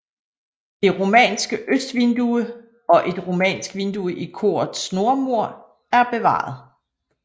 Det romanske østvindue og et romansk vindue i korets nordmur er bevaret